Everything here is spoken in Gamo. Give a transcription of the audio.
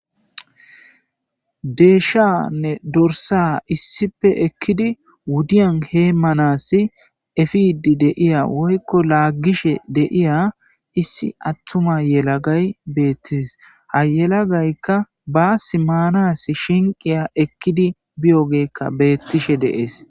Deyshayanne dorssa issippe ekidi wudiyan heemanasi efiidi de'iya woyko laagishe de'iya issi attuma yelagay beetes ha yelagayka baassi maanasi shinqiya ekidi biyogeyka beetishe de'es.